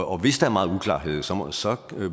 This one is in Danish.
og hvis der er meget uklarhed så må så